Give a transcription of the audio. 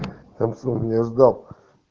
самсунг не ждал